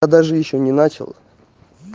я даже ещё не начал